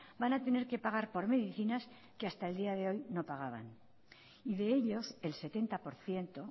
van a tener que pagar por medicinas que hasta el día de hoy no pagaban y de ellos el setenta por ciento